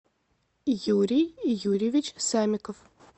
юрий юрьевич самиков